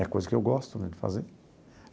É a coisa que eu gosto né de fazer.